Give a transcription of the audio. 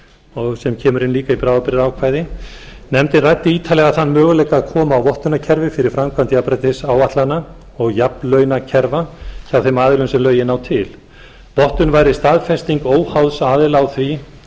það sem kemur inn líka í bráðabirðgaákvæði nefndin ræddi ítarlega þann möguleika að koma á vottunarkerfi fyrir framkvæmd jafnréttisáætlana og jafnlaunakerfa hjá þeim aðilum sem lögin ná til vottun væri staðfesting óháðs aðila á því